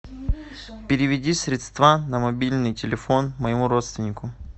переведи средства на мобильный телефон моему родственнику